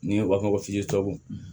Ni u b'a fɔ ko